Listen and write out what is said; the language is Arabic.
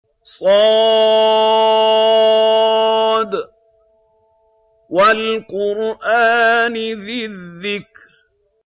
ص ۚ وَالْقُرْآنِ ذِي الذِّكْرِ